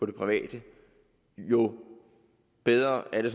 det private jo bedre er det